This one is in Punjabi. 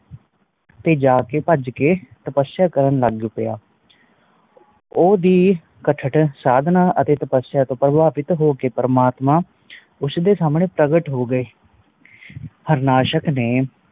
ਤੇ ਜਾਕੇ ਬਾਜ ਕ ਤਪਸ਼ਾਂ ਕਰਨ ਲੱਗ ਪਿਆ ਓਂਦੀ ਕੁਠਾੜ ਸਾਧਨਾ ਅਤੇ ਤਪਸਾ ਤੋਂ ਪ੍ਰਭਾਵਿਤ ਹੋਕੇ ਪ੍ਰਮਾਤਮਾ ਉਸ ਦੇ ਸਾਮਣੇ ਪ੍ਰਗਟ ਹੋ ਗਏ ਹਾਰਨਾਸ਼ਕ ਨੇ